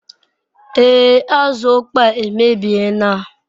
Ee azu okpoo a emebie na